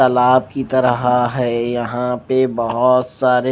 तालाब की तरह है यहां पे बहोत सारे--